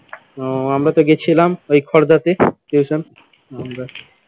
ও আমরা তো গেছিলাম ওই খড়দাতে tuition আমরা